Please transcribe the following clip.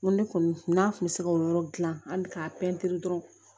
N ko ne kɔni n'a kun bɛ se k'o yɔrɔ gilan an bɛ k'a pɛntiri dɔrɔn